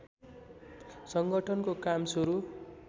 संगठनको काम सुरु